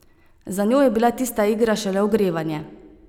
Za njo je bila tista igra šele ogrevanje.